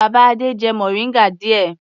Bàbá Adé jẹ mòríngà díẹ̀.